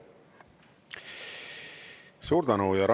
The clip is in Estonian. Suur tänu!